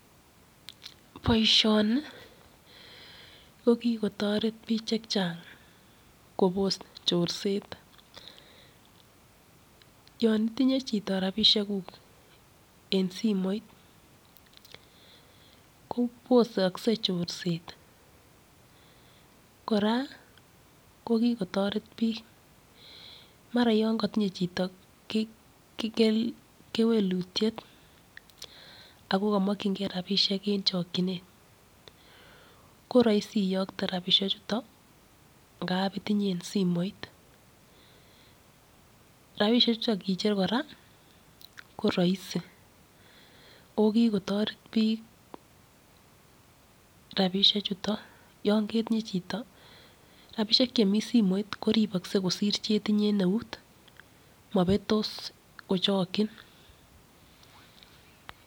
Boishoni kokikotoret bik chechang kobos chorset, yon itinye chito rabishekuk en simoit kobosokse chorset, koraa kokikotoret bik maran yon kotinye chito kewelutiet akokomokyingee rabishek en chokchinet koroisi iyokte rapinichuto ngap itinye en simoit rabishechuton kicher koraa koroisi oo kikotoret bik rabishechuto yon ketinye chito rabishek en simoit koribokse kosir chetinye en neut mobetos kochokchin.